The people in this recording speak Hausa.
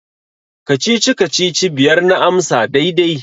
Kacici-kacici biyar na amsa daidai.